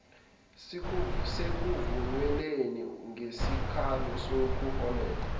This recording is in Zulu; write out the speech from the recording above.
sekuvunyelwene ngesikalo sokuholela